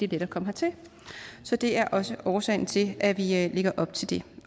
let at komme hertil så det er også årsagen til at vi lægger op til det